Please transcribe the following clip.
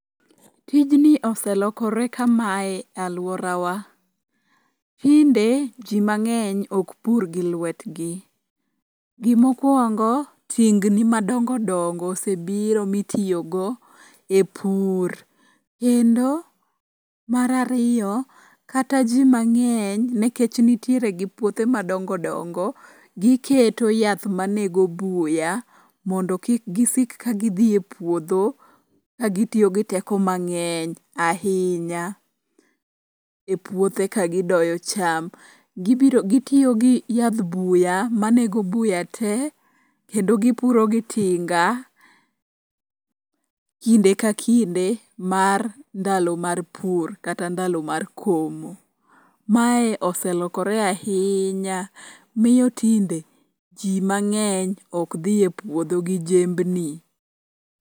Tijni oselokore kamae alworawa, tinde ji mang'eny okpur gi lwetgi. Gimokwongo, tingni madongodongo osebiro mitiyogo e pur kendo mar ariyo, kata ji mang'eny nekech nitiere gi puothe madongo dongo giketo yath manego buya mondo kik gisik kagidhi e puodho kagitiyo gi teko mang'eny ahinya e puothe ka gidoyo cham. Gitiyo gi yadh buya manego buya te kendo gipuro gi tinga kinde ka kinde mar ndalo mar pur kata ndalo mar komo. Mae oselokore ahinya miyo tinde ji mang'eny okdhi e puodho gi jembni.